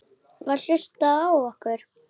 Var hlustað á okkur?